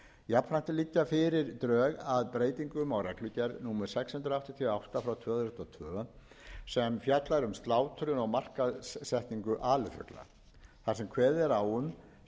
drög að breytingum á reglugerð númer sex hundruð áttatíu og átta tvö þúsund og tvö sem fjallar um slátrun og markaðssetningu alifugla þar sem kveðið er á um skilyrði